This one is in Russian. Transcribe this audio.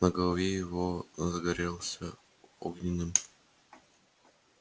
на голове его гребешок загорелся огненным цветком